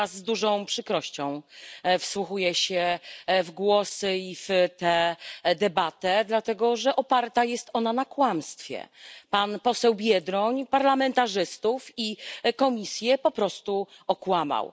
Z dużą przykrością wsłuchuję się w głosy i w tę debatę, dlatego że oparta jest ona na kłamstwie. Pan poseł Biedroń parlamentarzystów i Komisję po prostu okłamał.